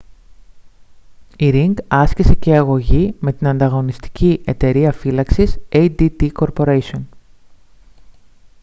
η ρινγκ άσκησε και αγωγή με την ανταγωνιστική εταιρεία φύλαξης adt corporation